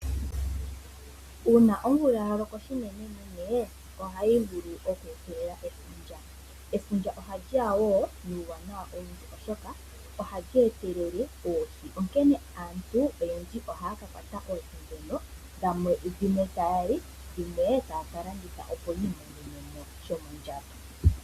Uuna omvula ya loko unenenene ohayi vulu oku etelela efundja. Efundja ohali ya wo nuuwanawa owundji, oshoka ohali etelele oohi, onkene aantu oyendji ohaya ka kwata oohi ndhono dhimwe taya li dhimwe taya ka landitha, opo yi imonene mo shomondjato.